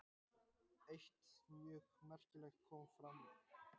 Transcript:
Eitt mjög merkilegt kom fram.